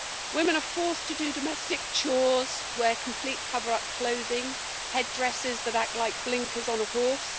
Women are forced to do domestic chores, wear complete cover up clothing, head dresses that act like blinkers on a horse